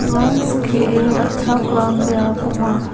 ua skie ra·chakram biap ong·a.